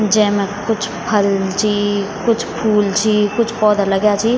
जैमा कुछ फल छी कुछ फूल छी कुछ पौधा लग्याँ छी।